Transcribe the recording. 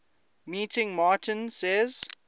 meeting martin says